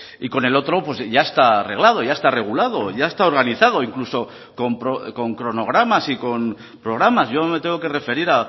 y con el otro pues ya está arreglado ya está regulado ya está organizado incluso con cronogramas y con programas yo me tengo que referir